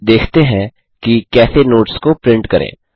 अब देखते हैं कि कैसे नोट्स को प्रिंट करें